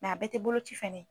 a bɛɛ ti boloci fɛnɛ ye.